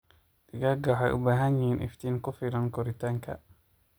Digaaga waxay u baahan yihiin iftiin ku filan koritaanka.